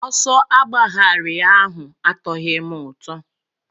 Ọsọ agbagharị ahụ atoghị m ụtọ.